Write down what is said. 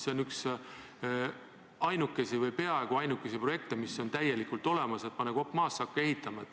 See on üks väheseid või peaaegu ainuke projekt, mis on täielikult olemas, pane vaid kopp maasse ja hakka ehitama.